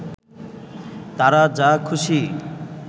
তারা যা খুশি